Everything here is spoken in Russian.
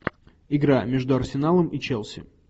игра между арсеналом и челси